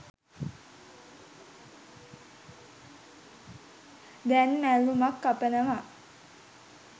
දැන් මැල්ලුමක් කපනවා.